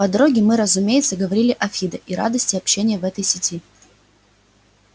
по дороге мы разумеется говорили о фидо и радости общения в этой сети